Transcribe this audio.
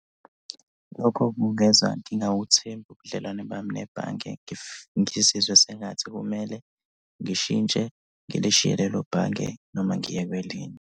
Lokho kungenza ngingawuthembi ubudlelwane bami nebhange. Ngizizwe sengathi kumele ngishintshe ngilishiye lelo bhange noma ngiye kwelinye.